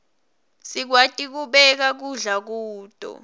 sikwati kubeka kudla kuto